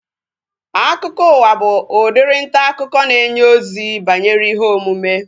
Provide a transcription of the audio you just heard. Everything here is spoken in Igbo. Akụkọụwa bụ udiri ntaakụkọ na-enye ozi banyere ihe omume